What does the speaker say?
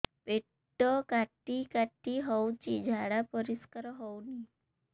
ପେଟ କାଟି କାଟି ହଉଚି ଝାଡା ପରିସ୍କାର ହଉନି